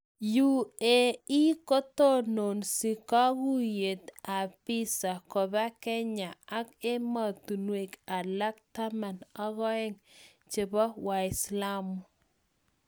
UAE kotononsi kogoitoyet ap visa kopa kenya ak Emotinwek alak 12 chepo waislamu.